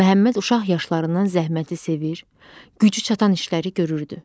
Məhəmməd uşaq yaşlarından zəhməti sevir, gücü çatan işləri görürdü.